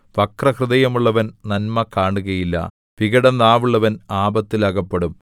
വക്രഹൃദയമുള്ളവൻ നന്മ കാണുകയില്ല വികടനാവുള്ളവൻ ആപത്തിൽ അകപ്പെടും